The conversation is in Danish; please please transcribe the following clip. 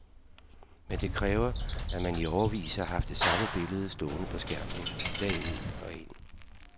Men det kræver, at man i årevis har haft det samme billede stående på skærmen dag ud og ind.